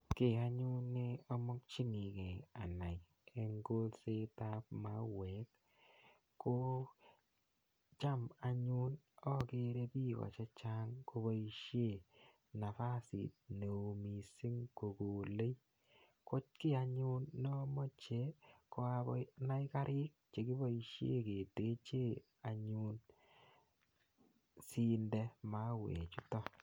Ki anyun ne amakchinigei anai eng' kolset ap mauek ko cham anyun akere piko che chang' kopoishe nafasit ne oo missing' ko kolei. Ko ki anyun ne amache ko anai kariik che kipoishen keteche anyun asiinde mauechutan.